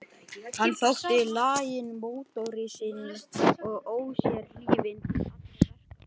Hann þótti laginn mótoristi og ósérhlífinn til allra verka.